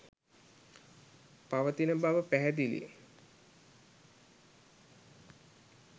පවතින බවද පැහැදිලිය.